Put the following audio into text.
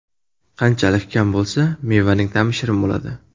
Qanchalik kam bo‘lsa, mevaning ta’mi shirin bo‘ladi.